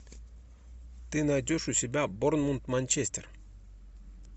ты найдешь у себя борнмут манчестер